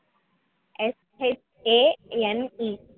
SHANE